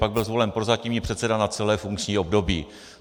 Pak byl zvolen prozatímní předseda na celé funkční období.